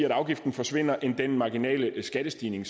at afgiften forsvinder end det marginale skattestigning